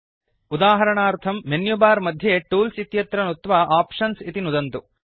उदाहरणार्थं मेन्युबार मध्ये टूल्स् इत्यत्र नुत्वा आप्शन्स् इति नुदन्तु